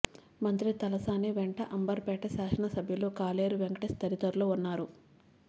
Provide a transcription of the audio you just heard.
మంత్రి తలసాని వెంట అంబర్ పేట శాసన సభ్యులు కాలేరు వెంకటేశ్ తదితరులు ఉన్నారు